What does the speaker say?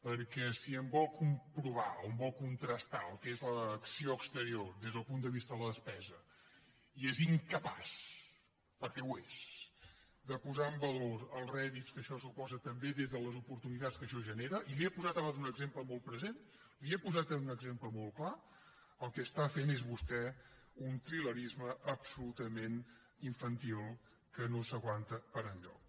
perquè si em vol comprovar o em vol contrastar el que és l’acció exterior des del punt de vista de la despesa i és incapaç perquè ho és de posar en valor els rèdits que això suposa també des de les oportunitats que això genera i li he posat abans un exemple molt present li he posat també en un exemple molt clar el que està fent és vostè un trilerisme absolutament infantil que no s’aguanta per enlloc